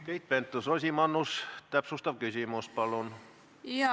Keit Pentus-Rosimannus, täpsustav küsimus, palun!